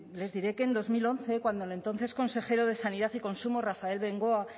les diré que en dos mil once cuando el entonces consejero de sanidad y consumo rafael bengoa